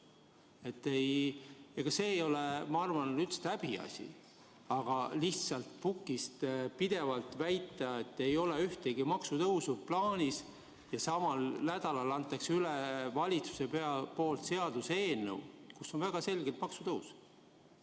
See ei ole üldse häbiasi, aga lihtsalt pukist pidevalt väita, et ühtegi maksutõusu ei ole plaanis, kui samal nädalal annab valitsus üle seaduseelnõu, milles on väga selgelt kirjas maksutõus.